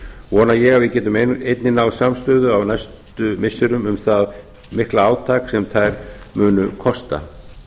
vona ég að við getum einnig náð samstöðu á næstu missirum um það mikla átak sem þær munu kosta